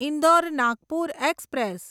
Indore Nagpur express